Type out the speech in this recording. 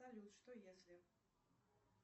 салют что если